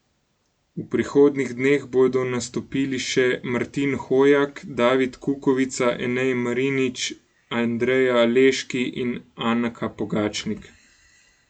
V prihodnjih dneh bodo nastopili še Martin Hojak, David Kukovica, Enej Marinič, Andreja Leški in Anka Pogačnik.